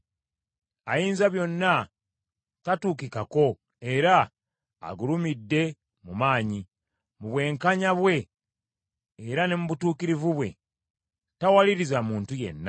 Ayinzabyonna tatuukikako era agulumidde mu maanyi, mu bwenkanya bwe era ne butuukirivu bwe, tawaliriza muntu yenna.